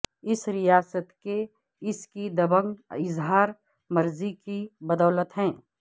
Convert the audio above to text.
اس ریاست کے اس کی دبنگ اظہار مرضی کی بدولت ہے